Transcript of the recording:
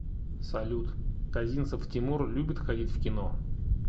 салют козинцев тимур любит ходить в кино